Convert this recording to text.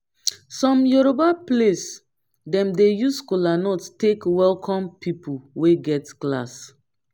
som yoroba place dem dey use kolanut take welkom pipol wey get class